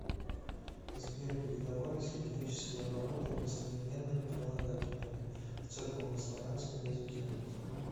сбер передавались ли греческие обороты местоименными прилагательными в церковнославянском языке